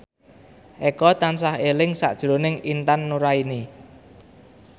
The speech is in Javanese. Eko tansah eling sakjroning Intan Nuraini